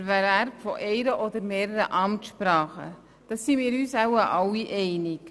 Darin sind wir uns wohl alle einig.